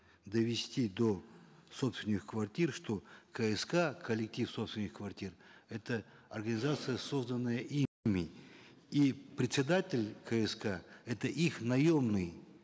довести до собственников квартир что кск коллектив собственников квартир это организация созданная ими и председатель кск это их наемный